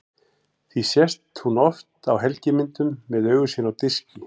Því sést hún oft á helgimyndum með augu sín á diski.